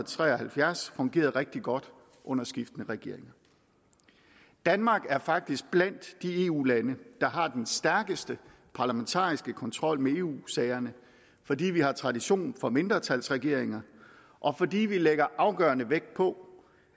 tre og halvfjerds fungeret rigtig godt under skiftende regeringer danmark er faktisk blandt de eu lande der har den stærkeste parlamentariske kontrol med eu sagerne fordi vi har tradition for mindretalsregeringer og fordi vi lægger afgørende vægt på